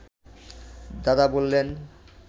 দাদা বললেন